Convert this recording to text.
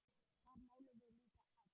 Þar málum við líka egg.